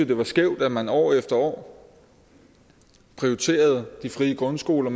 det var skævt at man år efter år prioriterede de frie grundskoler